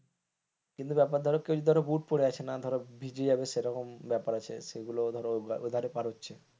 কিন্তু ব্যাপার ধরো কেউ যদি বুট পড়ে আছে না ভিজে যাবে সেরকম ব্যাপার আছে সেগুলো ধরো পার হচ্ছে,